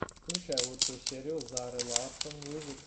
включай лучшую серию зары ларсон мьюзик